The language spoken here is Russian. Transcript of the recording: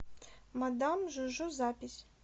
мадам жу жу запись